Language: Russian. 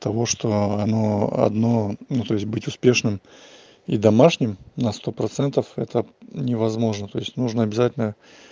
того что оно одно ну то есть будет успешным и домашним на сто процентов это невозможно то есть нужно обязательно